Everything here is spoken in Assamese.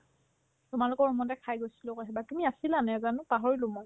তোমালোকৰ room তে খাই গৈছিলো আকৌ সেইবাৰ তুমি আছিলা নেজানো পাহৰিলো মই